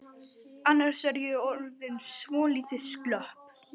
Annars er ég orðin svolítið slöpp.